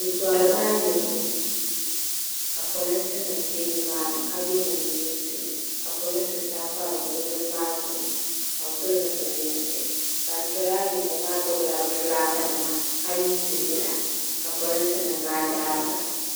bɛ tɔrila ayirimo ka polinsi nima be ni maa ni ka ye neen'yinsi polinsi sabi pa bɛ bini maa zuɣu ka bɛ pili zupili yinsi ban tɔri ayirimo maa gbubi la bɛ fulaki nima ka yiidi yila ka polinsi nima daari ba.